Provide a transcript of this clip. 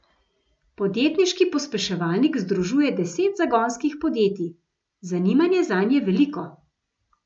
Podjetniški pospeševalnik združuje deset zagonskih podjetij, zanimanje zanj je veliko.